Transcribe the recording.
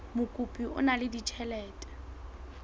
mokopi o na le ditjhelete